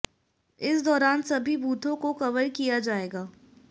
इस दौरान सभी बूथों को कवर किया जाएगा